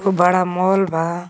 खुब बड़ा मॉल बा.